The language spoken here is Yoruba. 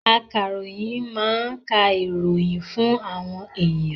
Akaroyin máa ń ka ìròyìn fún àwọn èèyàn